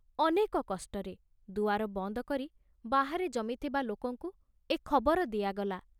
ଅନେକ କଷ୍ଟରେ ଦୁଆର ବନ୍ଦ କରି ବାହାରେ ଜମିଥିବା ଲୋକଙ୍କୁ ଏ ଖବର ଦିଆଗଲା।